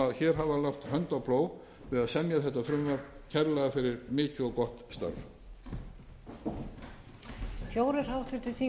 hafa lagt hönd á plóg við að semja þetta frumvarp kærlega fyrir mikið og gott starf